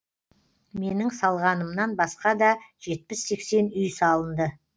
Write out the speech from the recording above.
менің салғанымнан басқа да жетпіс сексен үй салынды